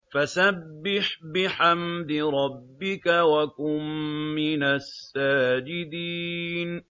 فَسَبِّحْ بِحَمْدِ رَبِّكَ وَكُن مِّنَ السَّاجِدِينَ